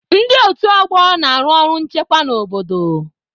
Ndị otu ọgbọ na-arụ ọrụ nchekwa n'obodo.